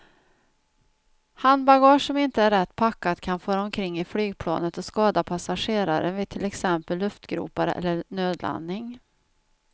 Handbagage som inte är rätt packat kan fara omkring i flygplanet och skada passagerare vid till exempel luftgropar eller nödlandning.